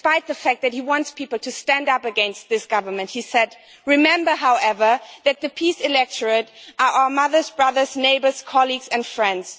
Despite the fact that he wants people to stand up against this government, he said, remember, however, that the PiS electorate are our mothers, brothers, neighbours, colleagues and friends'.